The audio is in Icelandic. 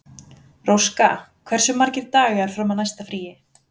Róska, hversu margir dagar fram að næsta fríi?